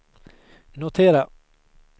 notera